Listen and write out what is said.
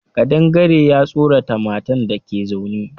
Ƙadangare ya tsorata matan dake zaune